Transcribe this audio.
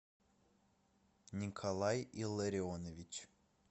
николай илларионович